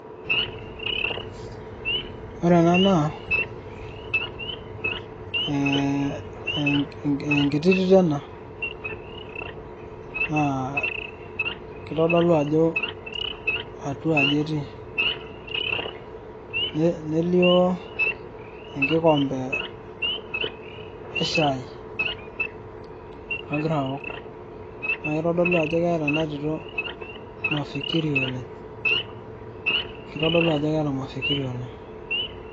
ore ena naa, ee enkiti tito ena. naa kitodolu ajo atua aji etii, nelio enkikompe. eshai, nagira aok, naa kitodlu ajo keeta ena tito mafikiri oleng. kitodolu ajo keeta mafikiri oleng'.